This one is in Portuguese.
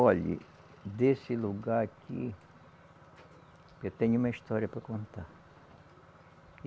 Olhe, desse lugar aqui, eu tenho uma história para contar.